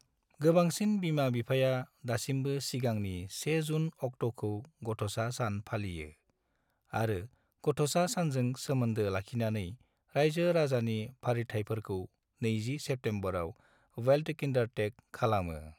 गोबांसिन बिमा-बिफाया दासिमबो सिगांनि 1 जुन अक्ट'खौ गथ'सा सान फालियो, आरो गथ'सा सानजों सोमोन्दो लाखिनानै रायजो-राजानि फालिथाइफोरखौ 20 सेप्टेम्बराव (वेल्टकिंडारटैग) खालामो।